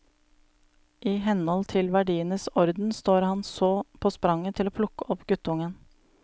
I henhold til verdienes orden står han så på spranget til å plukke opp guttungen.